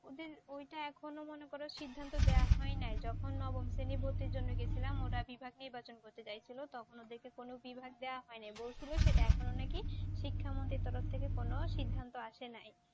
ওদের ওইটা মনে করো এখনো সিদ্ধান্ত দেয়া হয় নাই যখন নবম শ্রেণী ভর্তির জন্য গেছিলাম ওরা বিভাগ নির্বাচন করতে চাইছিল তখন ওদেরকে কোন বিভাগ দেওয়া হয় নাই। বলছিল সেটা এখনো নাকি শিক্ষামন্ত্রীর তরফ থেকে কোন সিদ্ধান্ত আসে নাই